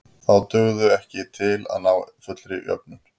Þá dugðu þau ekki til að ná fullri jöfnun.